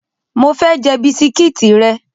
Mo fe je bisikiti re